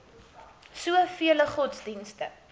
so vele godsdienste